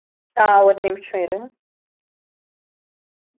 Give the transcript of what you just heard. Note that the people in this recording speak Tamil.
அஹ் ஒரு நிமிஷம் இரு